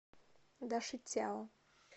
дашицяо